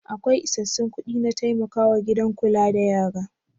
Akwai isassun kuɗi na taimakawa gidan kula da yara?